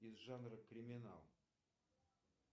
из жанра криминал